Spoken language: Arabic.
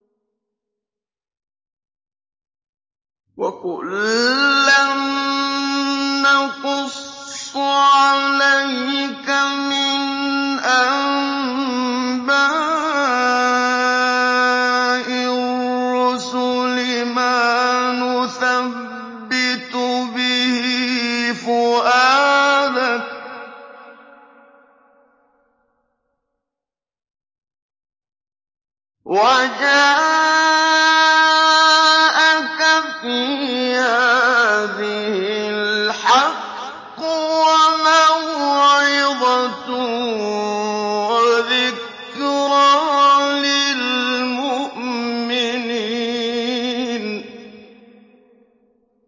وَكُلًّا نَّقُصُّ عَلَيْكَ مِنْ أَنبَاءِ الرُّسُلِ مَا نُثَبِّتُ بِهِ فُؤَادَكَ ۚ وَجَاءَكَ فِي هَٰذِهِ الْحَقُّ وَمَوْعِظَةٌ وَذِكْرَىٰ لِلْمُؤْمِنِينَ